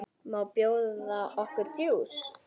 Má bjóða okkur djús?